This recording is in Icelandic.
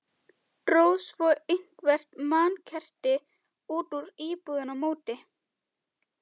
Drógu svo eitthvert mannkerti út úr íbúðinni á móti.